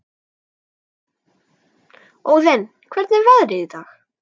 Óðinn, hvernig er veðrið í dag?